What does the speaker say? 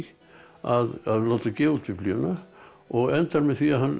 að láta gefa út Biblíuna og endar með því að hann